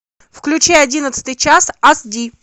включай одиннадцатый час ас ди